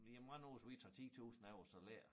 Jamen hvad nu hvis vi tager 10 tusind af æ salær